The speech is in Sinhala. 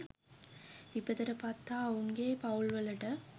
විපතට පත් හා ඔවුන්ගේ පවුල් වලට